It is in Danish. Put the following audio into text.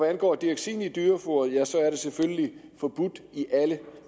angår dioxin i dyrefoder er det selvfølgelig forbudt i alle